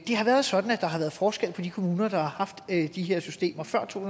har været sådan at der har været forskel på de kommuner der har haft de her systemer før to